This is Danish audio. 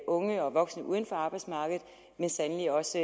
unge og voksne uden for arbejdsmarkedet og sandelig også